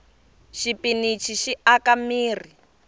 xipinichi xi aka mirhi